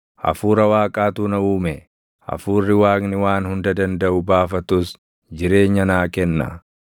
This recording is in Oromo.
Hafuura Waaqaatu na uume; hafuurri Waaqni Waan Hunda Dandaʼu baafatus jireenya naa kenna.